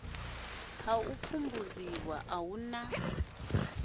ha u pfumbudziwa uhu na